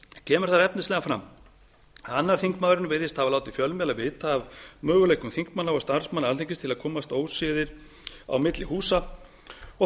kemur þar efnislega fram að annar þingmaðurinn virðist hafa látið fjölmiðla vita af möguleikum þingmanna og starfsmanna alþingis til að komast óséðir á milli húsa og